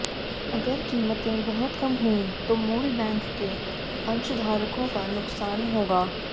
अगर कीमतें बहुत कम हुईं तो मूल बैंक के अंशधारकों का नुकसान होगा